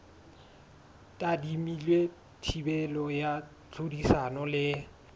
tadimilwe thibelo ya tlhodisano le